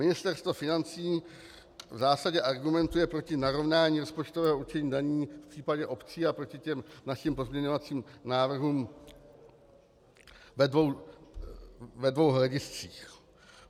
Ministerstvo financí v zásadě argumentuje proti narovnání rozpočtového určení daní v případě obcí a proti těm našim pozměňovacím návrhům ve dvou hlediscích.